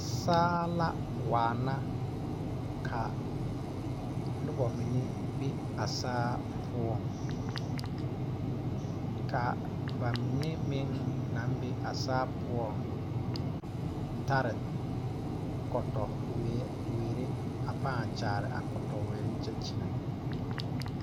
Saa la waana ka noba mine be a saa poɔŋ ka ba mine meŋ naŋ be a saa poɔŋ tare kɔtɔweere a pãã kyaare a kɔtɔweere kyɛ kyɛnɛ.